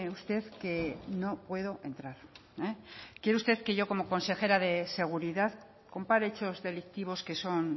usted que no puedo entrar quiere usted que yo como consejera de seguridad compare hechos delictivos que son